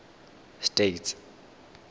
states